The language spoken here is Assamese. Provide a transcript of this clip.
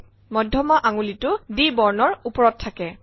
মধ্যমা আঙুলিটো D বৰ্ণৰ ওপৰত থাকে